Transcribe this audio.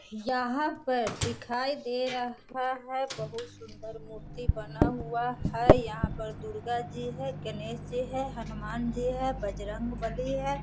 यहां पर दिखाई दे रहा है बहुत सूंदर मूर्ति बना हुआ है यहां पर दुर्गा जी है गणेश जी है हनुमान जी है बजरंबली है।